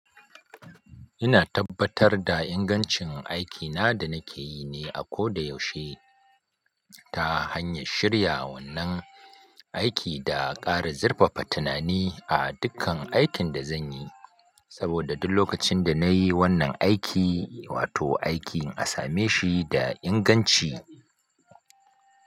Ina tabbatar da ingancin aikina da nake yi ne a koda yaushe ta hanyar shirya wannan aiki da ƙara zurfafa tunani a dukkan aikin da zan yi, saboda duk lokacin da nayi wannan aiki, wato aikin a same shi da inganci.